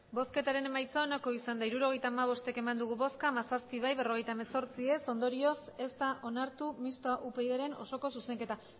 emandako botoak hirurogeita hamabost bai hamazazpi ez berrogeita hemezortzi ondorioz ez da onartu mistoa upydren osoko zuzenketa